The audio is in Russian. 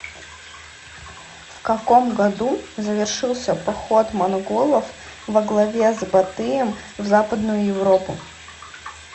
в каком году завершился поход монголов во главе с батыем в западную европу